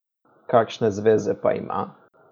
Kakšne zveze pa ima?